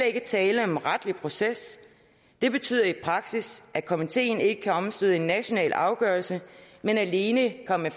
ikke tale om retlig proces det betyder i praksis at komiteen ikke kan omstøde en national afgørelse men alene komme